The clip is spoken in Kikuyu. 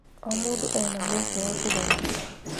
O mũndũ ena mweke wa kũgarũrũka